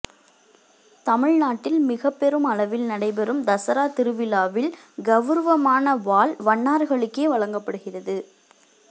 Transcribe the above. தமிழ்நாட்டில் மிக பெரும் அளவில் நடைபெறும் தசரா திருவிழாவில் கௌரவமான வாள் வண்ணார்களுக்கே வழங்கப்படுகிறது